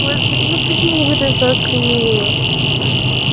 господи ну почему это так мило